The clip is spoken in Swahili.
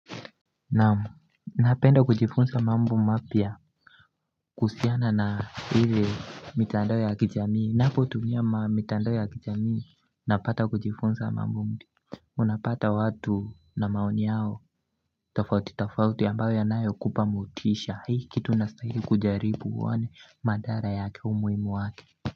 Naam napenda kujifunsa mambo mapya kuhusiana na ile mitandao ya kijamii ninapotunia mitandao ya kijamii napata kujifunza mambo mpya Unapata watu na maoni yao tafauti tafauti ambayo yanayokupa motisha hii kitu unasahili kujaribu uone madhara yake umuhimu wake.